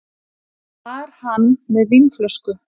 Var hann með vínflösku?